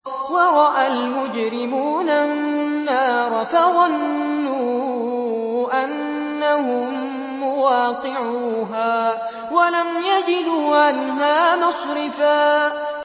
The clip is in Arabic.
وَرَأَى الْمُجْرِمُونَ النَّارَ فَظَنُّوا أَنَّهُم مُّوَاقِعُوهَا وَلَمْ يَجِدُوا عَنْهَا مَصْرِفًا